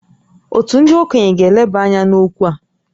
Òtù ndị okenye ga-eleba anya n’okwu a